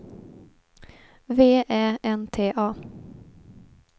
V Ä N T A